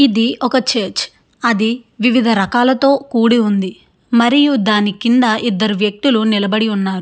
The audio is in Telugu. ఇది ఒక చర్చి . అది వివిధ రకాలతో కుడి ఉంది. మరియు దాని కింద ఇద్దరు వ్యక్తులు నిలబడి ఉన్నారు.